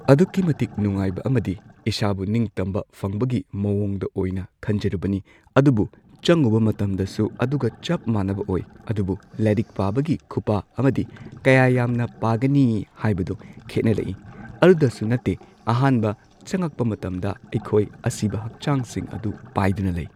ꯑꯗꯨꯛꯀꯤ ꯃꯇꯤꯛ ꯅꯨꯡꯉꯥꯏꯕ ꯑꯃꯗꯤ ꯏꯁꯥꯕꯨ ꯅꯤꯡꯇꯝꯕ ꯐꯪꯕꯒꯤ ꯃꯑꯣꯡꯗ ꯑꯣꯏꯅ ꯈꯟꯖꯔꯨꯕꯅꯤ ꯑꯗꯨꯕꯨ ꯆꯪꯉꯨꯕ ꯃꯇꯝꯗꯁꯨ ꯑꯗꯨꯒ ꯆꯞ ꯃꯥꯟꯅꯕ ꯑꯣꯏ ꯑꯗꯨꯕꯨ ꯂꯥꯏꯔꯤꯛ ꯄꯥꯕꯒꯤ ꯈꯨꯄꯥ ꯑꯃꯗꯤ ꯀꯌꯥ ꯌꯥꯝꯅ ꯄꯥꯒꯅꯤ ꯍꯥꯢꯕꯗꯣ ꯈꯦꯠꯅꯔꯛꯏ ꯑꯗꯨꯗꯁꯨ ꯅꯠꯇꯦ ꯑꯍꯥꯟꯕ ꯆꯪꯉꯛꯄ ꯃꯇꯝꯗ ꯑꯩꯈꯣꯏ ꯑꯁꯤꯕ ꯍꯛꯆꯥꯡꯁꯤꯡ ꯑꯗꯨ ꯄꯥꯏꯗꯨꯅ ꯂꯩ꯫